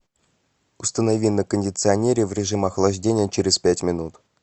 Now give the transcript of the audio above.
установи на кондиционере в режим охлаждения через пять минут